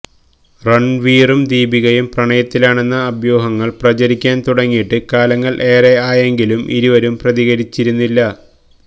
രണ്വീറും ദീപികയും പ്രണയത്തിലാണെന്ന അഭ്യൂഹങ്ങള് പ്രചരിക്കാന് തുടങ്ങിയിട്ട് കാലങ്ങള് ഏറെ ആയെങ്കിലും ഇരുവരും പ്രതികരിച്ചിരുന്നില്ല